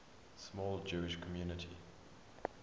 small jewish community